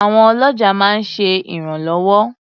Àwọn ọlọ́jà máa ń ṣe ìrànlọ́wọ́.